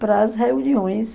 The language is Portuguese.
para as reuniões.